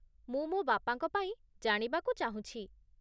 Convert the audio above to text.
ମୁଁ ମୋ ବାପାଙ୍କ ପାଇଁ ଜାଣିବାକୁ ଚାହୁଁଛି ।